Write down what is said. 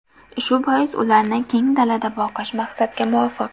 Shu bois, ularni keng dalada boqish maqsadga muvofiq.